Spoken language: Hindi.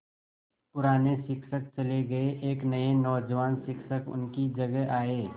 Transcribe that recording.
पुराने शिक्षक चले गये एक नये नौजवान शिक्षक उनकी जगह आये